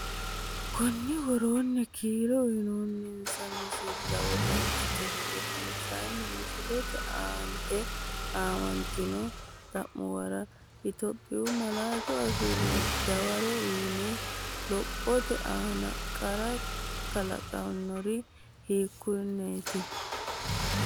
Konni woroonni kiiro uyinoonninsa misilla wodanchitini gedensaanni misillate aant aamantino xa’muwara Itophiyu malaatu afiinni dawaro uuyye, lophote aana qarra kalaqannori hiikkonneeti?